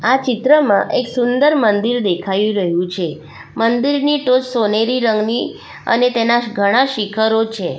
આ ચિત્રમાં એક સુંદર મંદિર દેખાઈ રહ્યું છે મંદિરની ટોચ સોનેરી રંગની અને તેના ઘણા શિખરો છે.